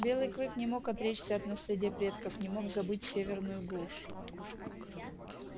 белый клык не мог отречься от наследия предков не мог забыть северную глушь